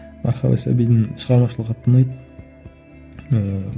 мархаба сәбидің шығармашылығы қатты ұнайды ыыы